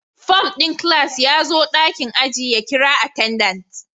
Form din class ya zo dakin ajin ya kira attendant